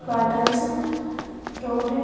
Bottles हैं road है।